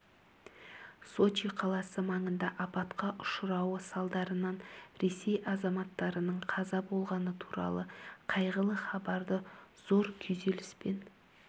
сочи қаласы маңында апатқа ұшырауы салдарынан ресей азаматтарының қаза болғаны туралы қайғылы хабарды зор күйзеліспен